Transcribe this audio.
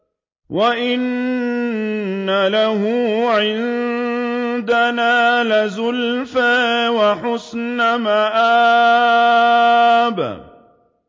وَإِنَّ لَهُ عِندَنَا لَزُلْفَىٰ وَحُسْنَ مَآبٍ